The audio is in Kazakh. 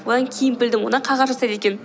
одан кейін білдім одан қағаз жасайды екен